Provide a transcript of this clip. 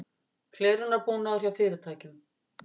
Hlerunarbúnaður hjá fyrirtækjum